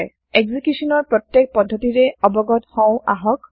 এক্সিকিউচনৰ প্ৰত্যেক পদ্ধতিৰে অৱগত হও আহক